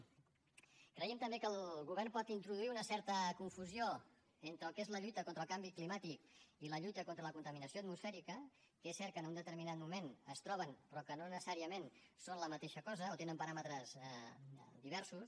creiem també que el govern pot introduir una certa confusió entre el que és la lluita contra el canvi climàtic i la lluita contra la contaminació atmosfèrica que és cert que en un determinat moment es troben però que no necessàriament són la mateixa cosa o tenen paràmetres diversos